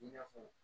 I n'a fɔ